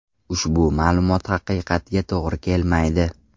Ushbu ma’lumot haqiqatga to‘g‘ri kelmaydi.